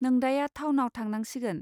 नोंदाया थावनाव थांनांसिगोन.